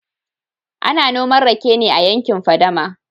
ana noman rake ne a yankin fadama